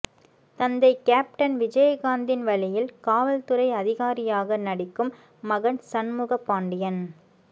தந்தை கேப்டன் விஜயகாந்தின் வழியில் காவல்துறை அதிகாரியாக நடிக்கும் மகன் சண்முக பாண்டியன்